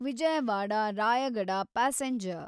Vijayawada Rayagada passenger